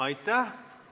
Aitäh!